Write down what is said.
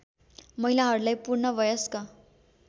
महिलाहरूलाई पूर्ण वयस्क